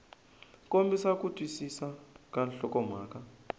kombisa ku twisisa ka nhlokomhaka